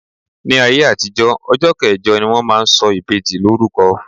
Ní ayé àtijó, ọjọ́ kẹjọ ni wón máa ń sọ ìbejì lórúko.